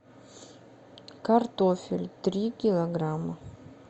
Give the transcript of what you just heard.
картофель три килограмма